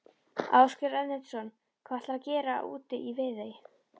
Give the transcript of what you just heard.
Ásgeir Erlendsson: Hvað ætlarðu að gera úti í Viðey?